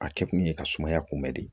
A kɛ kun ye ka sumaya kunbɛ de